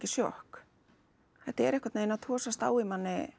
sjokk þetta er einhvern veginn að togast á í manni